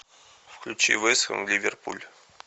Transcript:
включи вест хэм ливерпуль